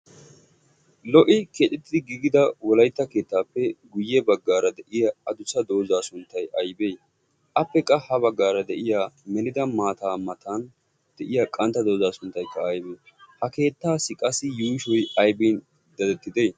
lo'i keexettidi giigida wolaytta keettaappe guyye baggaara de'iya adusa doozaa sunttay aybee appe qa ha baggaara de'iya melida maataa matan de'iya qantta doozaa sunttaykka aybee ha keettaassi qassi yuushoy aybin dadettide?